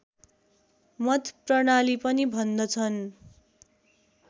मत प्रणाली पनि भन्दछन्